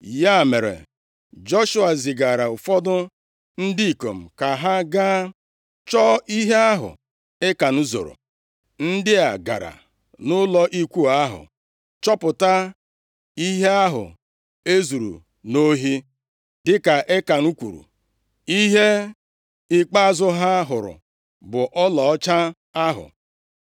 Ya mere, Joshua zigara ụfọdụ ndị ikom ka ha gaa chọọ ihe ahụ Ekan zoro. Ndị a gara nʼụlọ ikwu ahụ, chọpụta ihe ahụ ezuru nʼohi. Dịka Ekan kwuru, ihe ikpeazụ ha hụrụ bụ ọlaọcha ahụ.